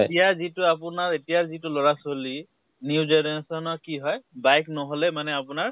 এতিয়া যিটো আপোনাৰ এতিয়া যিটো লʼৰা ছোৱালী new generation ৰ কি হয় bike নহলে মানে আপোনাৰ